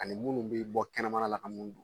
Ani munnu bi bɔ kɛnɛmala ka mun dun.